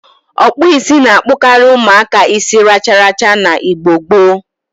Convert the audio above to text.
Okpu isi na-akpokari umuaka isi racharacha na Igbo gboo.